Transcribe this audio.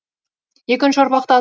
екінші ұрпақта